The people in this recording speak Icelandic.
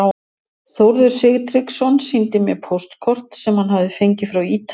Þórður Sigtryggsson sýndi mér póstkort sem hann hafði fengið frá Ítalíu.